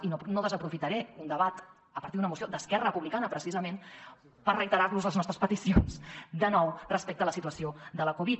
i no desaprofitaré un debat a partir d’una moció d’esquerra republicana precisament per reiterar los les nostres peticions de nou respecte a la situació de la covid